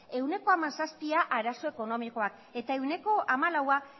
ehuneko hamazazpia arazo ekonomikoak eta ehuneko hamalaua